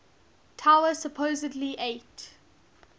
tower supposedly ate